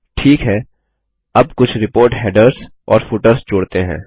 ठीक है अब कुछ रिपोर्ट हेडर्स और फुटर्स जोड़ते हैं